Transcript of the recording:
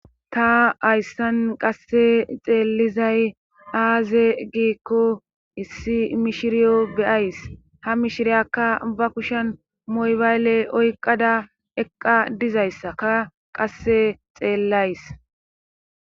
ta hayssan qasse xeellizay aaze giikko issi mishiriyo beyays ha mishiriyakka ba kushen moybayle oyqada eqqa dizayssaka qasse xeellays